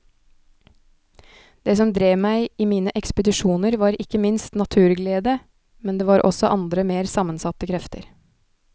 Det som drev meg i mine ekspedisjoner var ikke minst naturglede, men det var også andre mer sammensatte krefter.